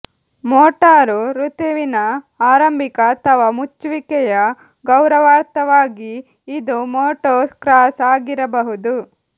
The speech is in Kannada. ಮೋಟಾರು ಋತುವಿನ ಆರಂಭಿಕ ಅಥವಾ ಮುಚ್ಚುವಿಕೆಯ ಗೌರವಾರ್ಥವಾಗಿ ಇದು ಮೋಟೋಕ್ರಾಸ್ ಆಗಿರಬಹುದು